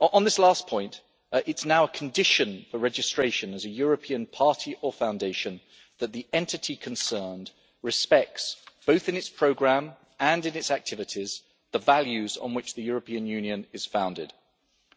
On this last point, it is now a condition for registration as a European party or foundation that the entity concerned respects, both in its programme and in its activities, the values on which the European Union is founded